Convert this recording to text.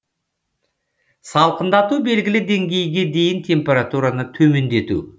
салқындату белгілі деңгейге дейін температураны төмендету